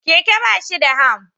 Keke ba shi da ham